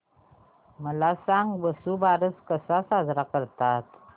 मला सांग वसुबारस कसा साजरा करतात